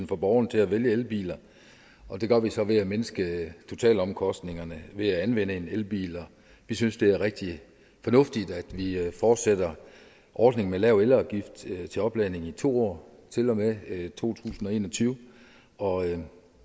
for borgerne til at vælge elbiler og det gør vi så ved at mindske totalomkostningerne ved at anvende elbiler vi synes det er rigtigt fornuftigt at vi fortsætter ordningen med lav elafgift til til opladning i to år til og med to tusind og en og tyve og